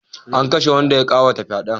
An kashe wanda ya ma kawata fyade